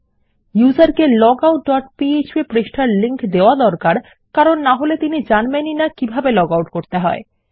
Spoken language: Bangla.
ব্যবহারকারীকে লগআউট ডট পিএচপি পৃষ্ঠার লিংক দেওয়া দরকার কারণ নাহলে তিনি জানবেন না কিভাবে লগআউট করতে হবে